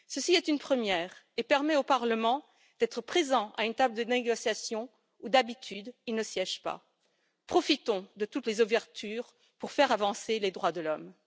Ceci est une première et permet au Parlement d'être présent à une table de négociations où d'habitude il ne siège pas. Profitons de toutes les ouvertures pour faire avancer les droits de l'homme.